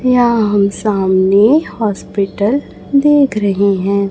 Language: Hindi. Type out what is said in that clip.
या हम सामने हॉस्पिटल देख रहे हैं।